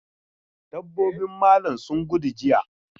Dabbobin malam sun gudu jiya.